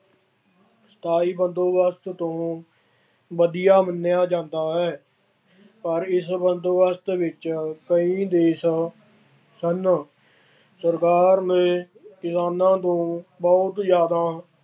ਬਾਈ ਬੰਦੋਬਸਤ ਤੋਂ ਵਧੀਆ ਮੰਨਿਆ ਜਾਂਦਾ ਹੈ। ਪਰ ਇਸ ਬੰਦੋਬਸਤ ਵਿੱਚ ਕਈ ਦੇਸ਼ਾਂ ਸਨ। ਸਰਕਾਰ ਨੇ ਕਿਸਾਨਾਂ ਨੂੰ ਬਹੁਤ ਜ਼ਿਆਦਾ